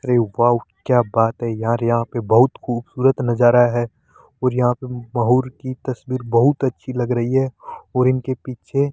अरे वाउ क्या बात है यार यहां पे बहुत खूबसूरत नजारा है और यहां पे की तस्वीर बहुत अच्छी लग रही है और इनके पीछे --